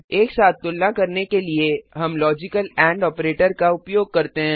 एक साथ तुलना करने के लिए हम लॉजिकल एंड ऑपरेटर का उपयोग करते हैं